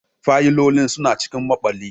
Fayilolin suna cikin maɓalli.